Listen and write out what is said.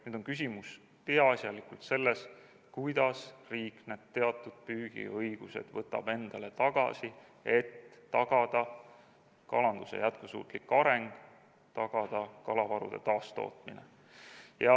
Nüüd on küsimus peaasjalikult selles, kuidas riik need teatud püügiõigused endale tagasi võtab, et tagada kalanduse jätkusuutlik areng, tagada kalavarude taastootmine.